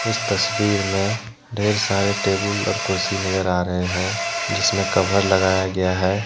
इस तस्वीर में ढेर सारे टेबुल और कुर्सी नजर आ रहे हैं जिसमें कभर लगाया गया है।